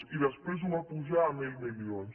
i després ho va pujar a mil milions